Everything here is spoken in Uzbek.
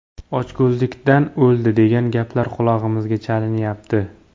Ochko‘zlikdan o‘ldi, degan gaplar qulog‘imizga chalinyapti.